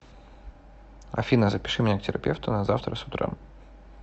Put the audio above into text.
афина запиши меня к терапевту на завтра с утра